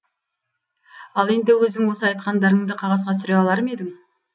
ал енді өзің осы айтқандарыңды қағазға түсіре алар ма едің